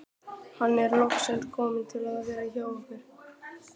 Hann er loksins kominn til að vera hjá okkur.